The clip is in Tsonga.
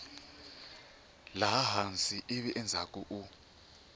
laha hansi ivi endzhaku u